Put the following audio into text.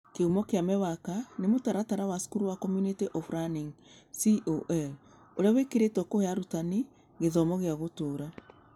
Kĩhumo kĩa MEWAKA nĩ mũtaratara wa cukuru wa Community of Learning (CoL) ũrĩa wĩkagĩrĩĩtwo kũhe arutani gĩthomo gĩa gũtũũra.